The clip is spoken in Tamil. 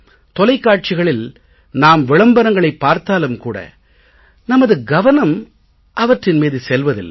தொலைக்காட்சிகளில் நாம் விளம்பரங்களைப் பார்த்தாலும் கூட நமது கவனம் அவற்றின் மீது செல்வதில்லை